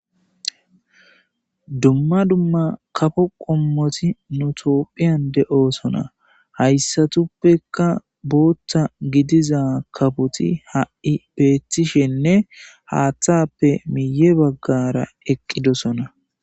dumma dumma kafo qommoti nutophiyan de7o sona hayssatuppeka booththa gidiza kapoti ha7i beethishenne haaththappe miye baggara eqqidosona